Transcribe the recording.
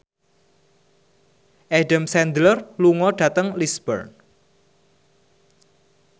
Adam Sandler lunga dhateng Lisburn